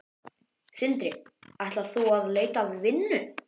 Sindri: Ætlar þú út að leita að vinnu?